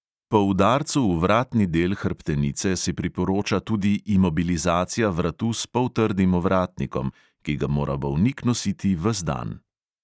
Po udarcu v vratni del hrbtenice se priporoča tudi imobilizacija vratu s poltrdim ovratnikom, ki ga mora bolnik nositi ves dan.